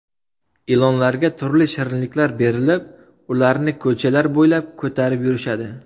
Ilonlarga turli shirinliklar berilib, ularni ko‘chalar bo‘ylab ko‘tarib yurishadi.